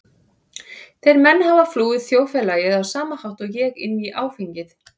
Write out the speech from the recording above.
Þeir menn hafa flúið þjóðfélagið á sama hátt og ég- inn í áfengið.